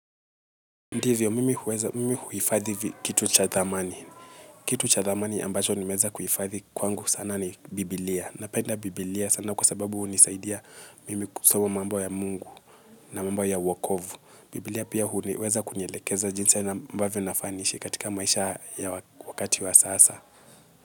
Ndivyo, mimi huweza, mimi huhifadhi kitu cha thamani. Kitu cha thamani ambacho nimweza kuhifadhi kwangu sana ni Bibilia. Na penda Bibilia sana kwa sababu hunisaidia mimi kusoma mambo ya mungu na mambo ya wokovu. Bibilia pia huweza kunielekeza jinsi ambavyo nafaa niishi katika maisha ya wakati wa sasa.